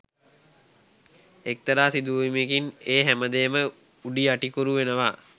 එක්තරා සිදුවීමකින් ඒ හැමදේම උඩුයටිකුරු වෙනවා